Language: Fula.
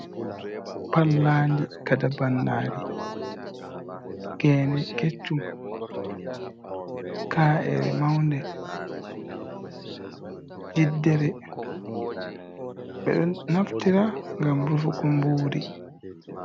Pallandi kata bannari, gene keccum, ka’ere maunde, jiddere ɓeɗo naftira ngam rufugo mburi.